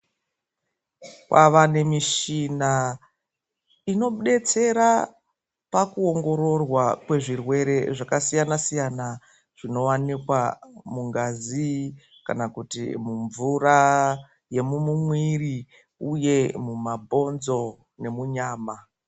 Kwavane mishina inobetsera pakuongororwa kwezvirwere zvakasiyana-siyana, zvinovanikwa mungazi kana kuti mumvura yemumumwiri, uye mumabhonzo nemunyama.